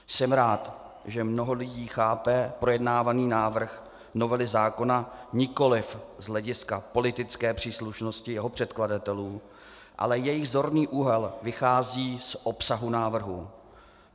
Jsem rád, že mnoho lidí chápe projednávaný návrh novely zákona nikoliv z hlediska politické příslušnosti jeho předkladatelů, ale jejich zorný úhel vychází z obsahu návrhu.